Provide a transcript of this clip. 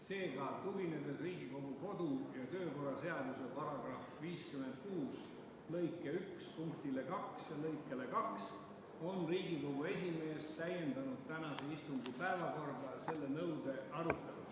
Seega, tuginedes Riigikogu kodu- ja töökorra seaduse § 56 lõike 1 punktile 2 ja lõikele 2 on Riigikogu esimees täiendanud tänase istungi päevakorda selle nõude aruteluga.